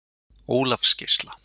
Ólafsgeisla